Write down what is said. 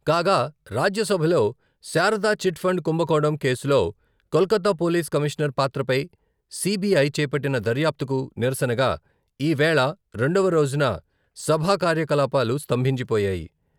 కాగా రాజ్యసభలో శారదా చిట్ఫండ్ కుంభకోణం కేసులో కోల్కతా పోలీస్ కమీషనర్ పాత్రపై సిబిఐ చేపట్టిన దర్యాప్తుకు నిరసనగా ఈ వేళ రెండవ రోజున సభా కార్యకలాపాలు స్థంభించిపోయాయి.